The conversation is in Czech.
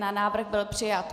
Návrh byl přijat.